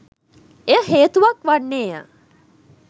එය හේතුවක් වන්නේය.